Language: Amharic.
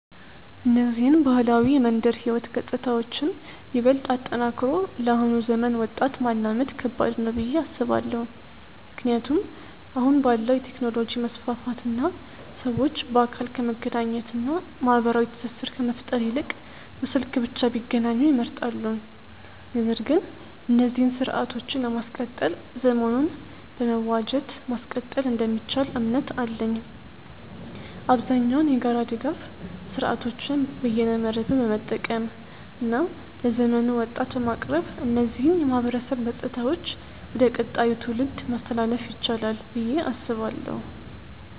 እነዚህን ባህላዊ የመንደር ህይወት ገጽታዎችን ይበልጥ አጠናክሮ ለአሁኑ ዘመናዊ ወጣት ማላመድ ከባድ ነው ብዬ አስባለው። ምክንያቱም አሁን ባለው የቴክኖሎጂ መስፋፋት እና ሰዎች በአካል ከመገናኘት እና ማህበራዊ ትስስር ከመፍጠር ይልቅ በስልክ ብቻ ቢገናኙ ይመርጣሉ። ነገር ግን እነዚህን ስርአቶችን ለማስቀጠል ዘመኑን በመዋጀት ማስቀጠል እንደሚቻል እምነት አለኝ። አብዛኛውን የጋራ ድጋፍ ስርአቶችን በይነመረብን በመጠቀም እና ለዘመኑ ወጣት በማቅረብ እነዚህን የማህበረሰብ ገጽታዎች ወደ ቀጣዩ ትውልድ ማስተላለፍ ይቻላል ብዬ አስባለው።